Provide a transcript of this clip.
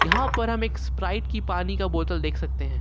यहां पर हम एक स्प्राइट की पानी का बोतल देख सकते हैं।